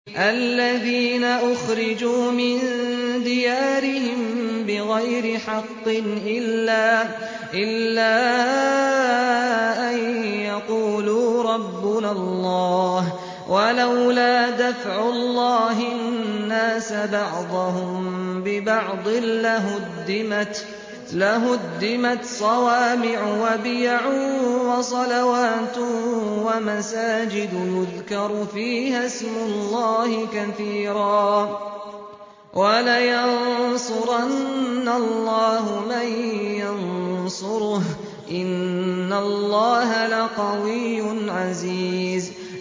الَّذِينَ أُخْرِجُوا مِن دِيَارِهِم بِغَيْرِ حَقٍّ إِلَّا أَن يَقُولُوا رَبُّنَا اللَّهُ ۗ وَلَوْلَا دَفْعُ اللَّهِ النَّاسَ بَعْضَهُم بِبَعْضٍ لَّهُدِّمَتْ صَوَامِعُ وَبِيَعٌ وَصَلَوَاتٌ وَمَسَاجِدُ يُذْكَرُ فِيهَا اسْمُ اللَّهِ كَثِيرًا ۗ وَلَيَنصُرَنَّ اللَّهُ مَن يَنصُرُهُ ۗ إِنَّ اللَّهَ لَقَوِيٌّ عَزِيزٌ